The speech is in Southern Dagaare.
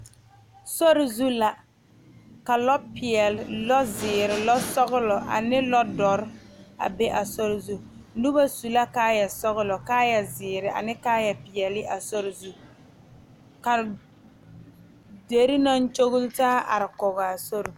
Sori zu la ka lɔ peɛle, lɔ ziiri, lɔ sɔglɔ ane lɔ doɔre a be a sori zu noba su la kaaya sɔglɔ, kaaya ziiri ane kaaya peɛle a sori zu ka dire naŋ kyɔle taa are kɔŋ a sori.